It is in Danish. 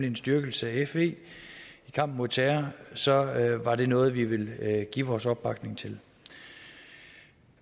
en styrkelse af fe i kampen mod terror så var det noget vi ville give vores opbakning til